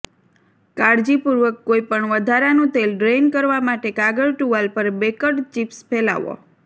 કાળજીપૂર્વક કોઈ પણ વધારાનું તેલ ડ્રેઇન કરવા માટે કાગળ ટુવાલ પર બેકડ ચિપ્સ ફેલાવો